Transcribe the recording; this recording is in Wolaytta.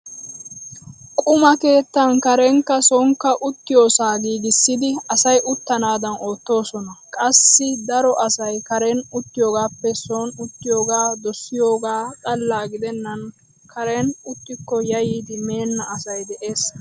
Quma keettan karenkka soonikka uttiyoosaa giigissidi asay uttanaadan oottoosona. Qassi daro asay karen uttiyoogaappe sooni uttiyoogaa dosiyoogaa xalla gidennan karen uttikko yayyidi meenna asay de'ees.